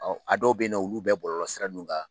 a dɔw bɛ ye nɔ olu bɛ bɔlɔlɔ sira ninnu kan.